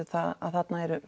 það að þarna er